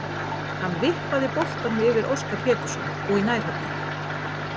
Hann vippaði boltanum yfir Óskar Pétursson og í nærhornið.